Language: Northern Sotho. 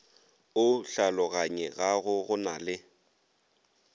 o hlaologanyegago go na le